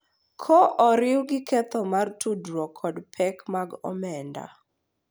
Ka oriw gi ketho mar tudruok kod pek mag omenda,